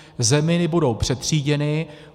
Zeminy budou přetříděny.